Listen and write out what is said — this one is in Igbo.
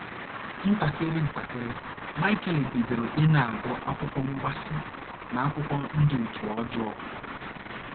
Ntakịrị ntakịrị, Michael bidoro ịna - agụ akwụkwọ mgbaasị na akwụkwọ ndị òtù ọjọọ..